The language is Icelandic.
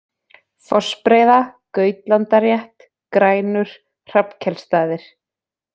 Fossbreiða, Gautlandarétt, Grænur, Hrafnkelsstaðir